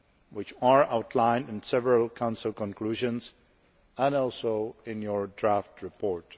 which are outlined in several Council conclusions and also in the draft report.